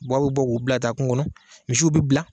a bɛ bɔ k'u bila ka taa kungo kɔnɔ misiw bɛ bila.